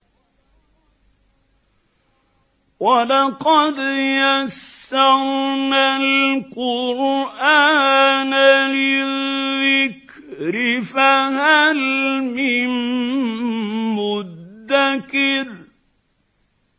وَلَقَدْ يَسَّرْنَا الْقُرْآنَ لِلذِّكْرِ فَهَلْ مِن مُّدَّكِرٍ